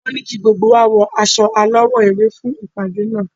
Wọ́n ní kí gbogbo wá wọ aṣọ alawọ ewé fún ìpàdé náà